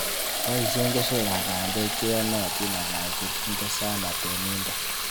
Boisien keswekab bandek cheyenotin ala kochekinde sana teminted.